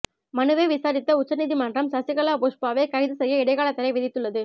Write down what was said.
மனுவை விசாரித்த உச்சநீதிமன்றம் சசிகலா புஷ்பாவை கைது செய்ய இடைக்காலத் தடை விதித்துள்ளது